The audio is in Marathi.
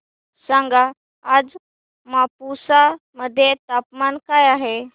सांगा आज मापुसा मध्ये तापमान काय आहे